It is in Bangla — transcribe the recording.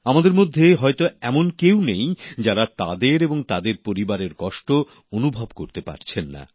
আমাদের মধ্যে হয়তো এমন কেউ নেই যারা তাদের এবং তাদের পরিবারের কষ্ট অনুভব করতে পারছেন না